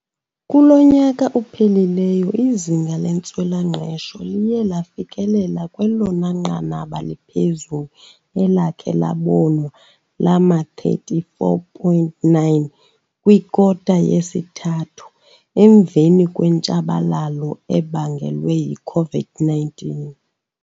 Kulo nyaka uphelileyo, izinga lentswela-ngqesho liye lafikelela kwelona nqanaba liphezulu elakhe labonwa lama-34.9 kwikota yesithathu, emveni kwentshabalalo ebangelwe yi-COVID-19.